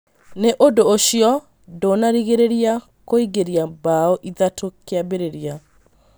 No ũndũ ũcio ndũnarigĩrĩria kuingĩria mbaũ ithatũ kĩambĩrĩria